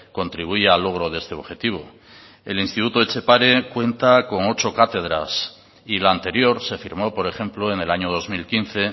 contribuya al logro de este objetivo el instituto etxepare cuenta con ocho cátedras y la anterior se firmó por ejemplo en el año dos mil quince